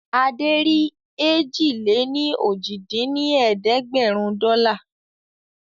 Adé rí èjì-lé-ní-ojì dín ní ẹ̀ẹ́dẹ́gbẹ́rún dọ́là